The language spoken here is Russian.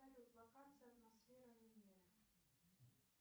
салют локация атмосферы венеры